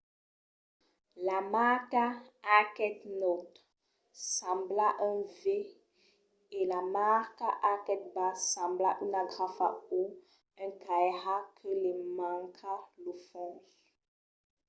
la marca arquet naut sembla un v e la marca arquet bas sembla una grafa o un cairat que li manca lo fons